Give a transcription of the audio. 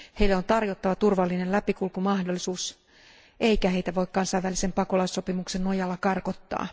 Heille on tarjottava turvallinen läpikulkumahdollisuus eikä heitä voi kansainvälisen pakolaissopimuksen nojalla karkottaa.